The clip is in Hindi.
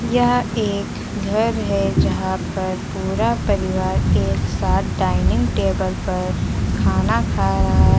यह एक घर है यहां पर पूरा परिवार एक साथ डाइनिंग टेबल पर खाना खा रहा--